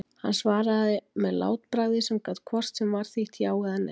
Hann svaraði með látbragði sem gat hvort sem var þýtt já eða nei.